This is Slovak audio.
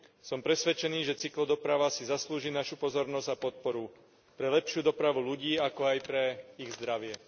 Som presvedčený, že cyklodoprava si zaslúži našu pozornosť a podporu pre lepšiu dopravu ľudí, ako aj pre ich zdravie.